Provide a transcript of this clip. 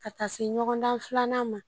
Ka taa se ɲɔgɔndan filanan ma